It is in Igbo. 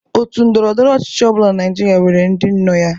Òtù ndọrọ ndọrọ ọchịchị ọ bụla Naịjirịa nwere ndị nọ ya.